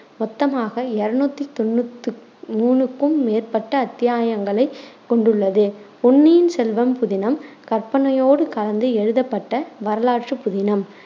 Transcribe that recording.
மொத்தமாக இருநூத்தி தொண்ணூத்து மூணுக்கும் மேற்பட்ட அத்தியாயங்களைக் கொண்டுள்ளது. பொன்னியின் செல்வம் புதினம் கற்பனையோடு கலந்து எழுதப்பட்ட வரலாற்றுப் புதினம்